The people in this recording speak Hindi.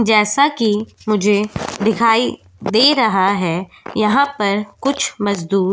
जैसा कि मुझे दिखाई दे रहा है यहां पर कुछ मजदूर --